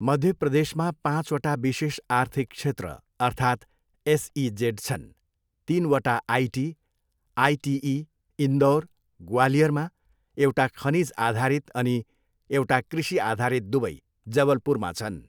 मध्य प्रदेशमा पाँचवटा विशेष आर्थिक क्षेत्र अर्थात् एसइजेड छन्, तिनवटा आइटी, आइटिई इन्दौर, ग्वालियरमा, एउटा खनिजआधारित अनि एउटा कृषिआधारित दुवै जबलपुरमा छन्।